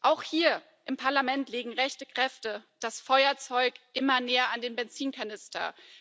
Auch hier im Parlament legen rechte Kräfte das Feuerzeug immer näher an den Benzinkanister.